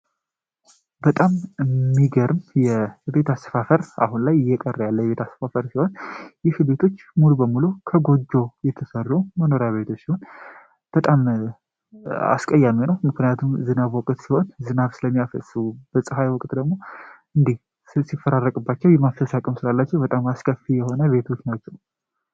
በጣም የሚገርም የቤት አስፋፈር አሁን ላይ እየቀረ ያለ ያስቆጠር ሲሆን በሙሉ ከጎጆ የተሰሩ መኖሪያ ቤቶች በጣም አስቀያሚ ነው ምክንያቱም ዝናብ ወቅት ሲሆን፤ ስለሚያፈሱ በጸሃይ ወቅት ደሞ ስላላቸው በጣም አስከፊ የሆነ ቤቶች ናቸው